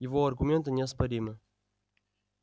его аргументы неоспоримы